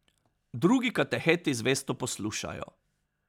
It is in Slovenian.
Drugi kateheti zvesto poslušajo.